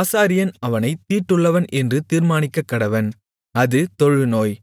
ஆசாரியன் அவனைத் தீட்டுள்ளவன் என்று தீர்மானிக்கக்கடவன் அது தொழுநோய்